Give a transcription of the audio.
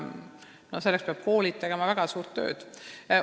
Arvan, et selleks peavad koolid veel väga suurt tööd tegema.